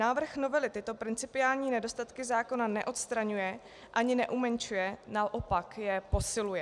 Návrh novely tyto principiální nedostatky zákona neodstraňuje ani neumenšuje, naopak je posiluje.